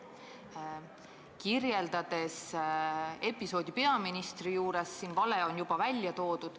Te kirjeldasite episoodi peaministri juures, siin on vale juba välja toodud.